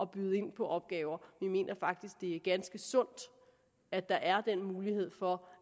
byde ind på opgaver vi mener faktisk det er ganske sundt at der er den mulighed for